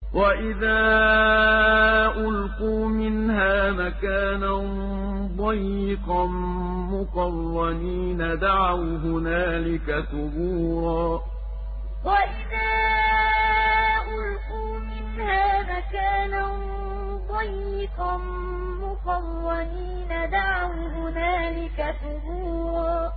وَإِذَا أُلْقُوا مِنْهَا مَكَانًا ضَيِّقًا مُّقَرَّنِينَ دَعَوْا هُنَالِكَ ثُبُورًا وَإِذَا أُلْقُوا مِنْهَا مَكَانًا ضَيِّقًا مُّقَرَّنِينَ دَعَوْا هُنَالِكَ ثُبُورًا